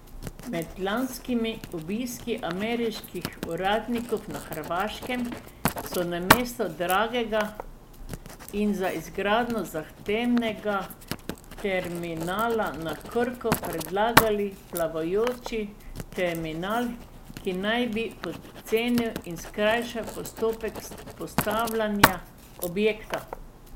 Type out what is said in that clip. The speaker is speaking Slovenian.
Med lanskimi obiski ameriških uradnikov na Hrvaškem so namesto dragega in za izgradnjo zahtevnega terminala na Krku predlagale plavajoči terminal, ki naj bi pocenil in skrajšal postopek postavljanja objekta.